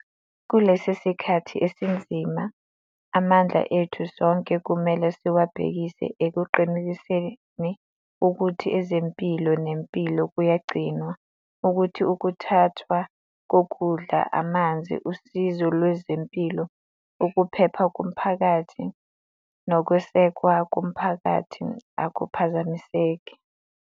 Kulesi sikhathi esinzima, amandla ethu sonke kumele siwabhekise ekuqinisekiseni ukuthi ezempilo nempilo kuyagcinwa, ukuthi ukuthuthwa kokudla, amanzi, usizo lwezempilo, ukuphepha komphakathi nokwesekwa komphakathi akuphazamiseki.